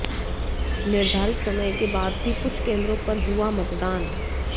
निर्धारित समय के बाद भी कुछ केन्द्रों पर हुआ मतदान